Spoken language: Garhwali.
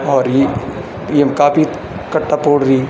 और ई येमा काफी कट्टा पोड़दीन।